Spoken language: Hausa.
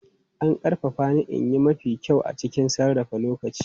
An ƙarfafa ni in yi mafi kyau a cikin sarrafa lokaci.